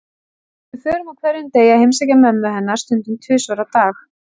Við förum á hverjum degi að heimsækja mömmu hennar, stundum tvisvar á dag.